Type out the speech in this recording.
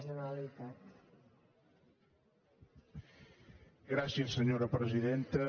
gràcies senyora presidenta